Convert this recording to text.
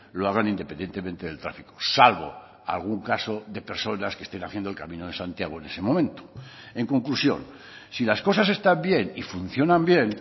lo hagan independientemente del tráfico salvo algún caso de personas que estén haciendo el camino de santiago en ese momento en conclusión si las cosas están bien y funcionan bien